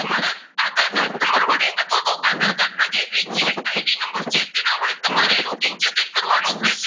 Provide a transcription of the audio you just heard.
તમારે નંબર વડે અથવા તો ના જે regular ID નંબર છે તેના વડે તમારે log in જે છે કરવાનું રહેશે.